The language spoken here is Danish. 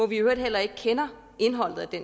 vi i øvrigt heller ikke kender indholdet af